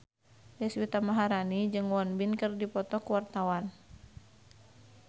Deswita Maharani jeung Won Bin keur dipoto ku wartawan